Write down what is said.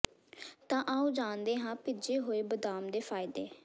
ਤਾਂ ਆਓ ਜਾਣਦੇ ਹਾਂ ਭਿੱਜੇ ਹੋਏ ਬਦਾਮ ਦੇ ਫਾਇਦੇ